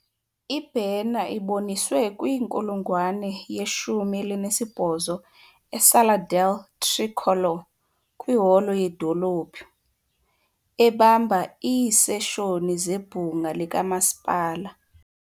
Ibhena iboniswe kwinkulungwane yeshumi elinesibhozo eSala del Tricolore kwiholo yedolophu, ebamba iiseshoni zebhunga likamasipala .